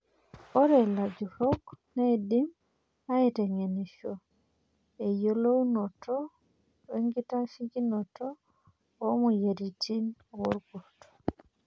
Ore lajurok neidim aiteng'enisho enyiolounoto wenkitashekinot oo moyiaritin woorkurt.